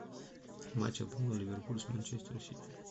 матч апл ливерпуль с манчестер сити